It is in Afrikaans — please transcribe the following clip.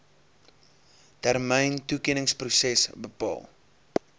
termyn toekenningsproses bepaal